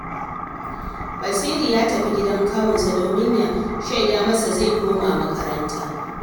Basiru ya tafi gidan kawunsa domin ya shaida masa zai koma makaranta